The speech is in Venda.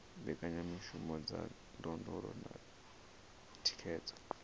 mbekanyamishumo dza ndondolo na thikhedzo